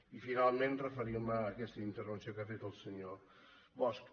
i finalment referir me a aquesta intervenció que ha fet el senyor bosch